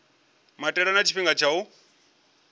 maitele na tshifhinga tsha u